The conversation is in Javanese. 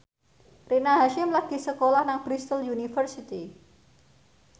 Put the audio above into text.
Rina Hasyim lagi sekolah nang Bristol university